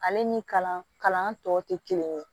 Ale ni kalan tɔw tɛ kelen ye